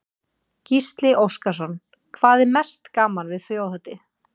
Gísli Óskarsson: Hvað er mest gaman við Þjóðhátíð?